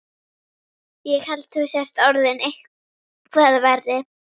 Ég held þú sért orðinn eitthvað verri.